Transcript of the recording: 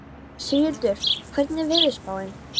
Sigurhildur, hvernig er veðurspáin?